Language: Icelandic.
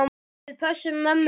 Við pössum mömmu fyrir þig.